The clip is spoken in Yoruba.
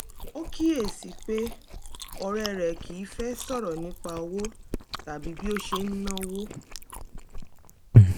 ó kíyèsí i pé ọ̀rẹ́ rẹ̀ kì í fẹ́ sọ̀rọ̀ nípa owó tàbí bí ó ṣe ń náwó